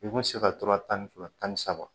I kun mi se ka to a tan ni fila tan ni saba